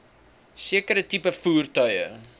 sekere tipe voertuie